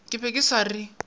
ke be ke sa re